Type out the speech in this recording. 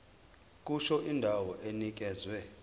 kusho indawo enikezwe